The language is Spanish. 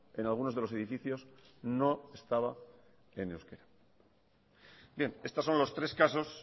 en algunos de los edificios no estaba en euskara bien estos son los tres casos